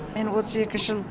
мен отыз екі жыл